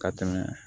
Ka tɛmɛ